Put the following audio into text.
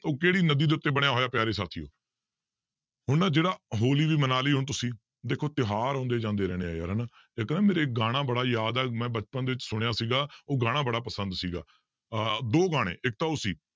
ਉਹ ਕਿਹੜੀ ਨਦੀ ਦੇ ਉੱਤੇ ਬਣਿਆ ਹੋਇਆ ਪਿਆਰੇ ਸਾਥੀਓ ਹੁਣ ਨਾ ਜਿਹੜਾ ਹੋਲੀ ਵੀ ਮਨਾ ਲਈ ਹੁਣ ਤੁਸੀਂ, ਦੇਖੋ ਤਿਉਹਾਰ ਆਉਂਦੇ ਜਾਂਦੇ ਰਹਿਣੇ ਹੈ ਯਾਰ ਹਨਾ, ਇੱਕ ਨਾ ਮੇਰੇ ਗਾਣਾ ਬੜਾ ਯਾਦ ਹੈ ਮੈਂ ਬਚਪਨ ਦੇ ਵਿੱਚ ਸੁਣਿਆ ਸੀਗਾ ਉਹ ਗਾਣਾ ਬੜਾ ਪਸੰਦ ਸੀਗਾ ਆਹ ਦੋ ਗਾਣੇ ਇੱਕ ਤਾਂ ਉਹ ਸੀ